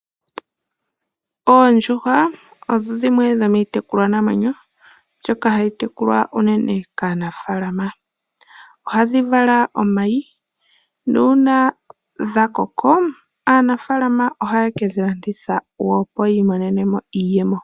Oondjuhwa odho dhimwe dhomiitekulwanamwenyo mbyoka hayi tekulwa unene kaanafaalama. Ohadhi vala omayi nuun dhakoko aanafaalama ohaye kedhilanditha opo yi imonenemo iiyemo.